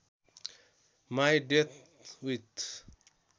my date with